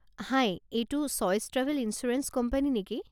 হাই, এইটো Choice travel insurance company নেকি?